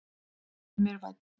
Vertu mér vænn.